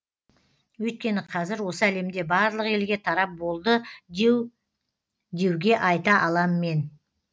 өйткені кәзір осы әлемде барлық елге тарап болды деу деуге айта алам мен